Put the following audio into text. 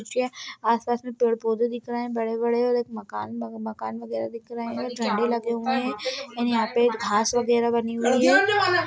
आसपास में पेड़ पौधे दिख रहैं हैं बड़े-बड़े और एक मकान मकान वगैरा देख रहैं हैं झंडे लगे हुए हैं और यहां पर घास वगैरा बनी हुई हैं।